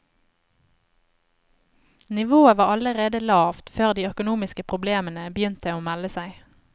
Nivået var allerede lavt før de økonomiske problemene begynte å melde seg.